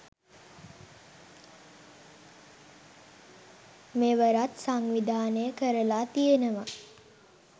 මෙවරත් සංවිධානය කරලා තියෙනවා.